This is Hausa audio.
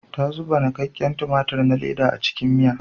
Ta zuba nikakken tumatir na leda a cikin miya.